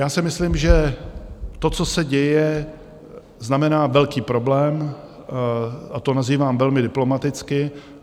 Já si myslím, že to, co se děje, znamená velký problém, a to nazývám velmi diplomaticky.